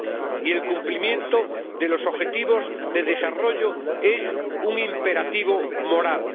Y el cumplimiento de los objetivos de desarrollo sostenible es un imperativo moral.